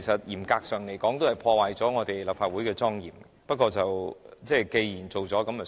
嚴格來說，這破壞了立法會的莊嚴，不過既然做了便算。